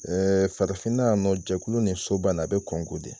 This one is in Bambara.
Ɛɛ farafinna yan nɔ jɛkulu ni soba a be kɔngo de